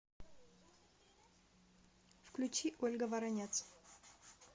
включи ольга воронец